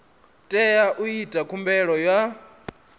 tea u ita khumbelo ya